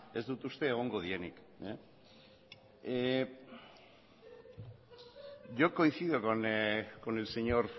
ez dut uste egongo direnik yo coincido con el señor